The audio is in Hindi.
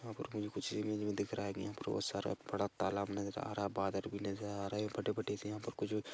यहां पर गंज कुछ इमेज में दिख रहा है की यहां पर बोहोत सारा बड़ा तालाब नजर आ रहा है बादर भी लजर आ रहे फटे फटे से यहां पर कुछ भी--